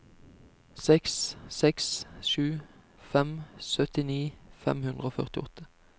seks seks sju fem syttini fem hundre og førtiåtte